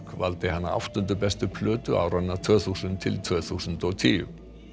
valdi hana áttundu bestu plötu áranna tvö þúsund til tvö þúsund og tíu